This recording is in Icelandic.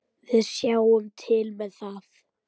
Við sjáum til með það.